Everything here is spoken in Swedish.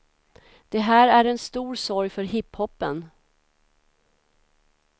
Det här är en stor sorg för hip hopen.